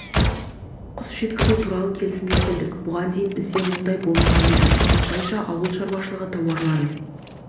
құс жеткізу туралы келісімге келдік бұған дейін бізде мұндай болмаған еді осылайша ауыл шаруашылығы тауарларын